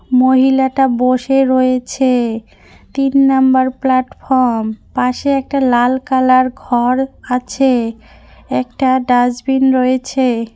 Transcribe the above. মহিলাটা বসে রয়েছে তিন নাম্বার প্লাটফম পাশে একটা লাল কালার ঘর আছে একটা ডাস্টবিন রয়েছে।